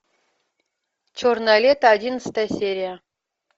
черное лето одиннадцатая серия